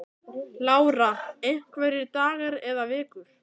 Lára: Einhverjir dagar eða vikur?